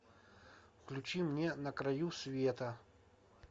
включи мне на краю света